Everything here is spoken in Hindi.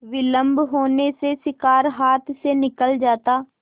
विलम्ब होने से शिकार हाथ से निकल जाता